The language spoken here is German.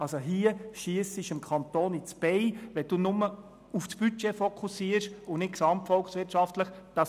Hier schiessen Sie dem Kanton ins Bein, wenn Sie nur auf das Budget fokussieren und nicht auf die gesamtvolkswirtschaftlichen Auswirkungen.